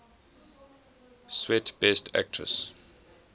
swet best actress